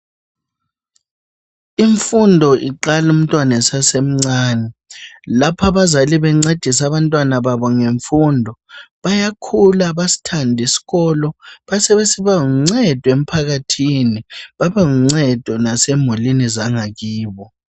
Imfundo iqala umntwana esasemncane lapha abazali bencedisa abantwana babo ngemfundo bayakhula basithande isikolo besebesiba luncedo emphakathini babe luncedo lasemulini zangakibo.